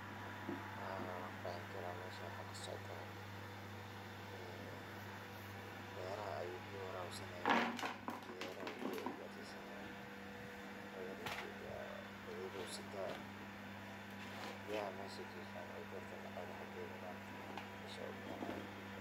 Haa, wanqexi karaah meshan waxaa kasocdho , beraha ayuu biya warabsanahayaa, beraha uu biyaha garsisanayaa, badil uu sitaah biyahana meshaa ayaa jifan